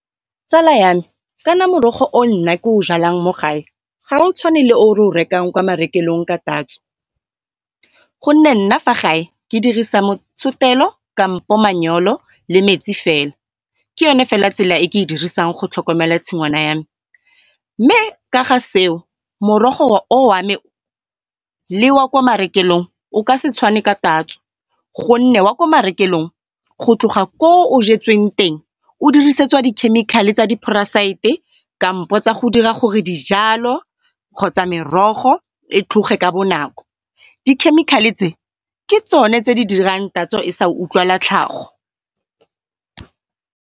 Tsala ya me ka ne morogo o nna ke o jalang mo gae ga o tshwane le o re o rekang kwa marekelong ka tatso. Gonne nna fa gae ke dirisa motshotelo kampo le metsi fela, ke yone fela tsela e ke e dirisang go tlhokomela tshingwana ya me. Mme ka ga seo morogo o wa me le wa kwa marekelong o ka se tshwane ka tatso. Gonne wa ko marekelong go tloga ko o jetsweng teng o dirisediwa dikhemikhale tsa di-parasite kampo tsa go dira gore dijalo kgotsa merogo e tlhoge ka bonako, dikhemikhale tse ke tsone di dirang tatso e sa utlwala tlhago.